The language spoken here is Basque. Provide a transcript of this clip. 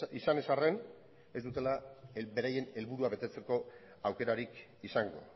izan ez arren ez dutela beraien helburua betetzeko aukerarik izango